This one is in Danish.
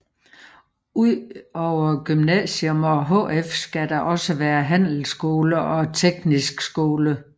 Udover gymnasium og HF skal der også være handelsskole og teknisk skole